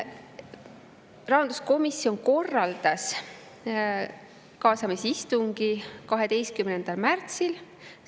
Rahanduskomisjon korraldas kaasamisistungi 12. märtsil.